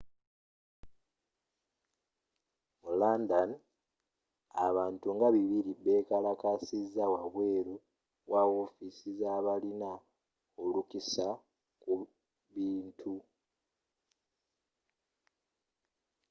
mu london abantu nga 200 bekalakasiza wabweru wa wofiisi zabalina olukusa ku bintu